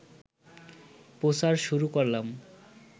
প্রচার শুরু করলাম